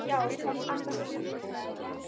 Já, hvað annað?